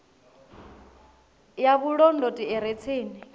ya vhulondoti i re tsini